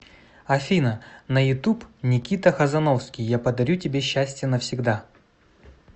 афина на ютуб никита хазановский я подарю тебе счастье навсегда